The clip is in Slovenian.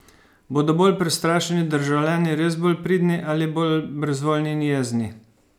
Bodo bolj prestrašeni državljani res bolj pridni ali bolj brezvoljni in jezni?